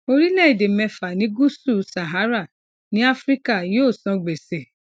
orílẹèdè mẹfà ní gúúsù sahara ní áfíríkà yóò san gbèsè